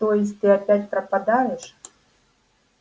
то есть ты опять пропадёшь